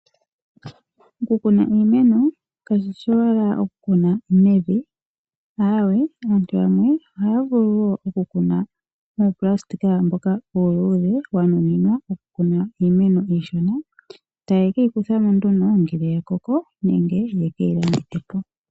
Okukuna iimeno kashishi owala kukuna mevi aawe aantu yamwe ohaya vulu wo okukuna muunayilona mboka uuluudhe wa nuninwa okukuna iimeno iishona etaye keyi kuthamo nduno ngele ya koko nenge yeke yilandithe po.